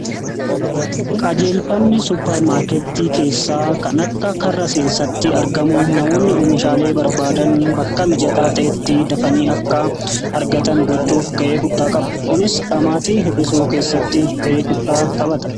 qajeelfamni supparmaarketii keessaa kan akka karra seensatti argamu namoonni oomishaalee barbaadan bakka mijataa ta'etti dafanii akka argatan gochuuf ga'ee guddaa qaba kunis dhamaati hir'isuu keessatti ga'ee guddaa taphata